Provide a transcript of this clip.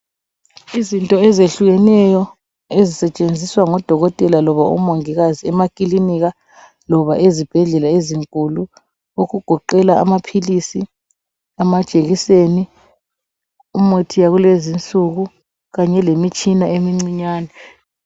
Izinto ezehlukeneyo ezisetshenziswa ngodokotela loba ngomongikazi emaklinika loba ezibhedlela ezinkulu okugoqela amaphilisi , amajekiseni , umuthi yakulezinsuku kanye lemitshina emncinyane